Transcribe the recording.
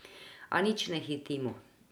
A nič ne hitimo.